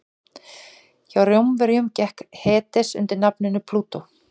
hjá rómverjum gekk hades undir nafninu plútó